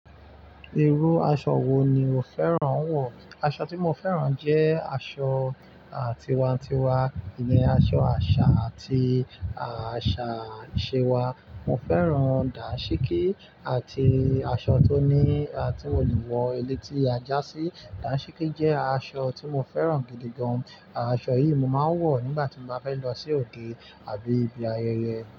Irú aṣọ wo ni o fẹ́ràn wọ̀? Aṣọ tí mo fẹ́ràn jẹ́ aṣọ tiwantiwa, ilé aṣọ àṣà àti àṣà ìṣe wa. Mo fẹ́ràn dàsíkí àti aṣọ tó ni, tí mo lè wọ ilé eletí aja sí. Dàsíkí jẹ́ aṣọ tí mo fẹ́ràn gidi gan. Aṣọ yìí mo máa ń wọ̀ nígbà tí mo bá fẹ́ lọ sí òde àbí ibi ayẹyẹ.